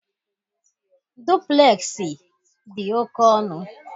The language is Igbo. Duplexi dị oke ọnụ